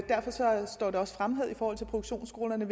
produktionsskolerne